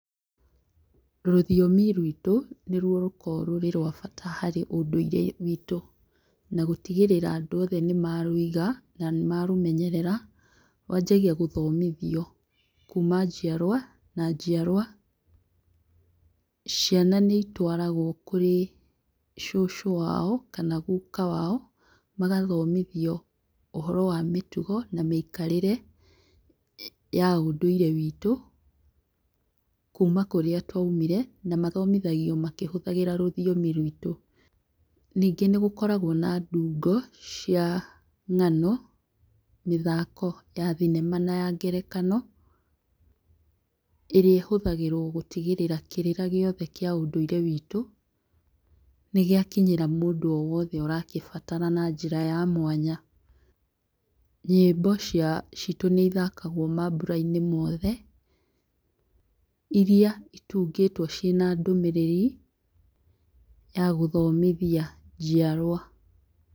Rũthiomi ruĩtũ nĩruo rũkoragwo rũrĩ rwa bata harĩ ũndũire witũ, na gũtigĩrĩra atĩ andũ othe nĩmarũiga na nĩmarũmenyerera, rwa njagia gũthomithio kuma njiarwa nginya njiarwa. Ciana nĩitwarago kũrĩ cũcũ wao kana guka wao magathomithio ũhoro wa mĩtugo na mĩikarĩre ya ũndũire witũ kuma kũrĩa twaumire, na mathomithagio makĩhũthĩra rũthiomi rũitũ. Ningĩ nĩgũkoragwo na ndungo cia ng'ano, mĩthako ya thinema na ngerekano ĩrĩa ĩhũthagĩrwo gũtigĩrĩra kĩrĩra gĩothe kĩa ũndũire witũ nĩgĩakinyĩra, mũndũ wothe ũrĩa ũrakĩbatara na njĩra ya mwanya. Nyĩmbo citũ nĩcithakagwo mamburainĩ mothe iria citungĩtwo ciĩna ndũmirĩri ya gũthomithia njiarwa.